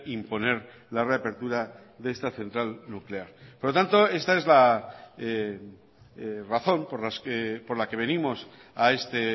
imponer la reapertura de esta central nuclear por lo tanto esta es la razón por la que venimos a este